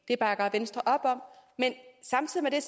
det bakker venstre op om men samtidig